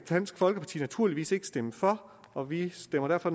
dansk folkeparti naturligvis ikke kan stemme for og vi stemmer derfor